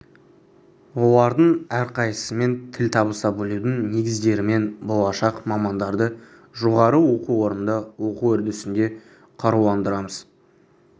олардың әрқайсысымен тіл табыса білудің негіздерімен болашақ мамандарды жоғары оқу орнында оқу үрдісінде қаруландырамыз